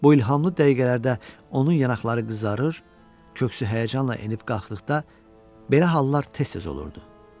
Bu ilhamlı dəqiqələrdə onun yanaqları qızarır, köksü həyəcanla enib-qalxdıqda belə hallar tez-tez olurdu.